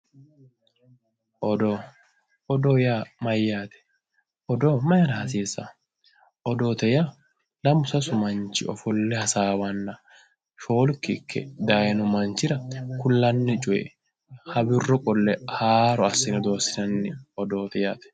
Odoo yaa mayyaate odoo mayiira hasiissawoo odoote yaa lamu sasu manchi hasaabbanna shoolki ikke dayiino manchirakullanni coy wirro qolle haaro assine odeessinanni odooti yaate